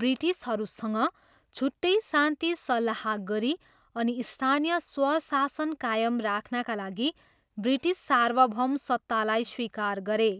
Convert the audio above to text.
ब्रिटिसहरूसँग छुट्टै शान्ति सल्लाह गरी अनि स्थानीय स्वशासन कायम राख्नाका लागि ब्रिटिस सार्वभौमसत्तालाई स्वीकार गरे।